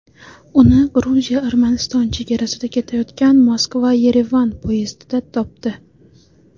Uni Gruziya-Armaniston chegarasida ketayotgan Moskva-Yerevan poyezdida topdi.